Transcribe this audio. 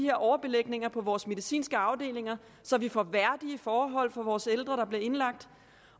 her overbelægninger på vores medicinske afdelinger så vi får værdige forhold for vores ældre der bliver indlagt